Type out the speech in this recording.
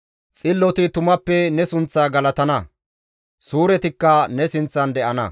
Xilloti tumuppe ne sunththaa galatana; suuretikka ne sinththan de7ana.